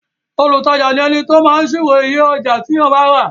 olùtajà ni ẹni tí ó máa ṣírò iye ọjà tí èèyàn rà